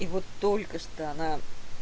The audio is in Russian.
и вот только что она